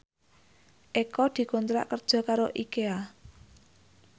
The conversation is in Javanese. Eko dikontrak kerja karo Ikea